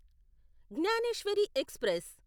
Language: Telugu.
జ్ఞానేశ్వరి ఎక్స్ప్రెస్